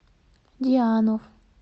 дианов